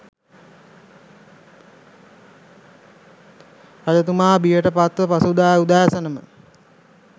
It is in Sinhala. රජතුමා බියට පත්ව පසුදා උදෑසනම